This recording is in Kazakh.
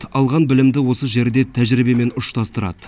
алған білімді осы жерде тәжірибемен ұштастырады